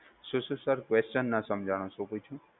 શું શું sir, question ના સમજાણો શુંપૂછ્યું.